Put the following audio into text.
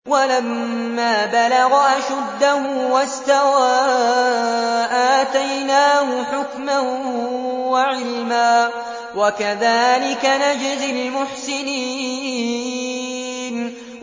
وَلَمَّا بَلَغَ أَشُدَّهُ وَاسْتَوَىٰ آتَيْنَاهُ حُكْمًا وَعِلْمًا ۚ وَكَذَٰلِكَ نَجْزِي الْمُحْسِنِينَ